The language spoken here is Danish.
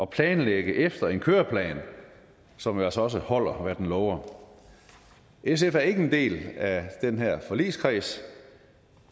planlægge efter en køreplan som jo altså også holder hvad den lover sf er ikke en del af den her forligskreds